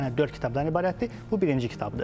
Yəni dörd kitabdan ibarətdir, bu birinci kitabdır.